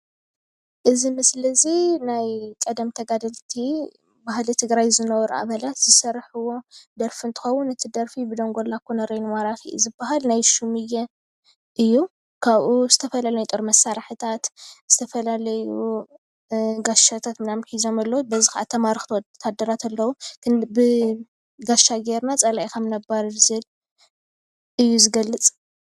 እዚ ምስሊ እዚ ናይ ቀደም ተጋደልቲ ባህሊ ትግራይ ዝነበሩ ኣባላት ዝሰርሕዎ ደርፊ እንትከውን እቲ ደርፊ ብደንጎላ ኮነርየል ማራኪ እዩ ዝባሃል። ናይ ሽሙየ እዩ፡፡ ካብኡ ዝተፈላለየ ናይ ጦር መሳርሒታት ዝተፈላለዩ ጋሻታት ሒዞም ኣለዉ፡፡ በዚ ከዓ ዝተማረኩ ወታደራት ኣለዉ፡፡ ብጋሸይ ጌርና ፀላኢ ከምእነባርር እዩ ዝገልፅ፡፡